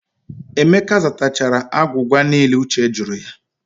Emeka zatachara agwụgwa niile Uche jụrụ ya.